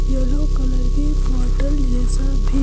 yellow colour की बोतल जैसा भी--